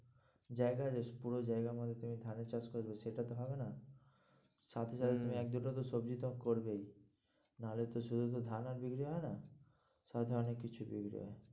জায়গা আছে, পুরো জায়গা তুমি ধানের চাষ করবে সেটা তো হবে না হম তুমি তো সবজির দাম করবেই নাহলে তো শুধু শুধু ধান আর বিক্রি হয় না সব ধরণের কিছু দেখবে।